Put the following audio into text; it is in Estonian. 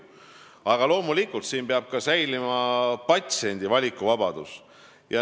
Aga loomulikult peab säilima patsiendi valikuvabadus.